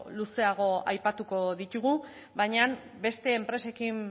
luzeago aipatuko ditugu baina beste enpresekin